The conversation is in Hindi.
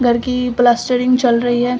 घर की प्लास्टरिंग चल रही है।